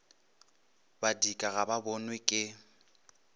badika ga ba bonwe ke